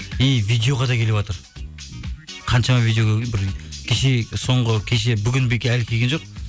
и видеоға да келіватыр қаншама видео бір кеше соңғы кеше бүгіндікке әлі келген жоқ